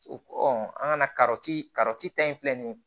O an ka ta in filɛ nin ye